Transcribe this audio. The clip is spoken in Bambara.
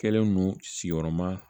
Kɛlen don sigiyɔrɔma